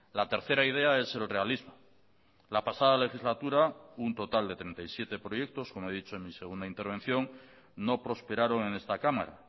la tercera idea es el realismo la pasada legislatura un total de treinta y siete proyectos como he dicho en mi segunda intervención no prosperaron en esta cámara